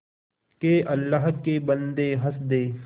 के अल्लाह के बन्दे हंस दे